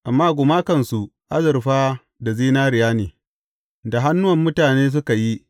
Amma gumakansu azurfa da zinariya ne, da hannuwan mutane suka yi.